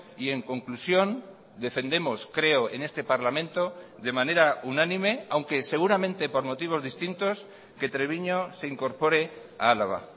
y en conclusión defendemos creo en este parlamento de manera unánime aunque seguramente por motivos distintos que treviño se incorpore a álava